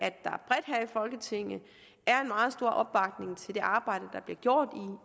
folketinget er en meget stor opbakning til det arbejde der bliver gjort